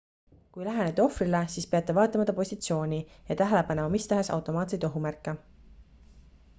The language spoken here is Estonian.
kui lähenete ohvrile siis peate vaatlema ta positsiooni ja tähele panema mistahes automaatseid ohumärke